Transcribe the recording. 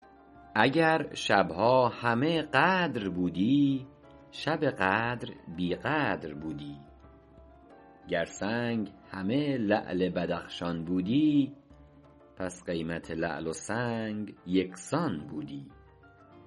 اگر شبها همه قدر بودی شب قدر بی قدر بودی گر سنگ همه لعل بدخشان بودی پس قیمت لعل و سنگ یکسان بودی